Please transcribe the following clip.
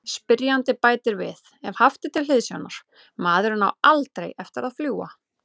Spyrjandi bætir við: Ef haft er til hliðsjónar:.maðurinn á ALDREI eftir að fljúga.